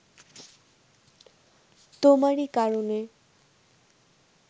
তোমারই কারণে